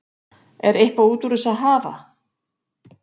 Er eitthvað út úr þessu að hafa?